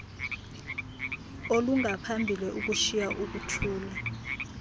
olungaphambili ukushiya ukuthula